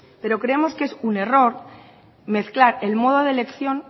pero creemos que es un error mezclar el modo de elección